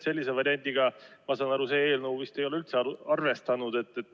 Sellise variandiga, ma saan aru, see eelnõu vist ei ole üldse arvestanud.